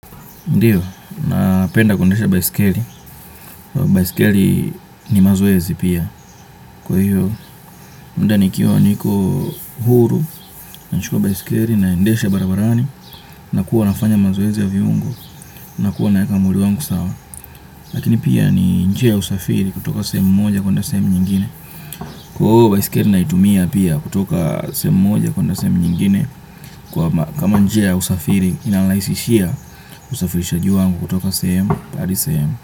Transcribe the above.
Ndio, napenda kundesha baisikeli, baisikeli ni mazoezi pia, kwa hiyo, muda nikiwa niko huru, nachukua baisikeli, naendesha barabarani, nakua nafanya mazoezi ya viungo, nakua naeka mwili wangu sawa, lakini pia ni njia usafiri kutoka sehemu moja kwenda sehemu nyingine, kwa hivo baisikeli naitumia pia kutoka sehemu moja kwenda sehemu nyingine, kama njia ya usafiri inanirahisishia usafirishaji wangu kutoka sehemu hadi sehemu.